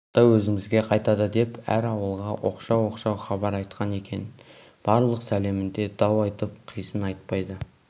қыстау өзімізге қайтады деп әр ауылға оқшау-оқшау хабар айтқан екен барлық сәлемінде дау айтып қисын айтпайды